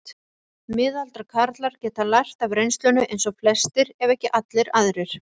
Miðaldra karlar geta lært af reynslunni eins og flestir ef ekki allir aðrir.